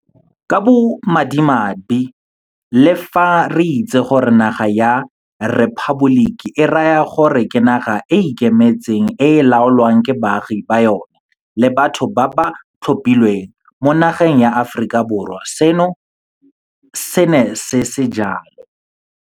Ka bomadimabe le fa re itse gore naga ya 'rephaboliki' e raya gore ke naga e e ikemetseng e e laolwang ke baagi ba yona le batho ba ba ba tlhophileng, mo nageng ya Aforika Borwa seno se ne se se jalo.